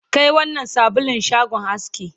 Kai wannnan sabulun shagon aski